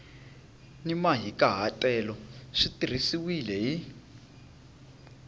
ni mahikahatelo swi tirhisiwile hi